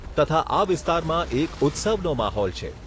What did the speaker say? તથા આ વિસ્તારમાં એક ઉત્સવનો માહોલ છે.